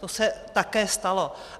To se také stalo.